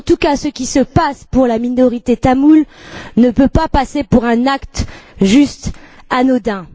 En tout cas, ce qui se passe pour la minorité tamoule ne peut pas passer pour un acte simplement anodin.